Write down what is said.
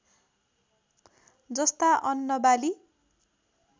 जस्ता अन्न बाली